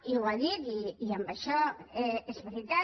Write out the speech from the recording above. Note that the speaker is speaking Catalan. i ho ha dit i en això és veritat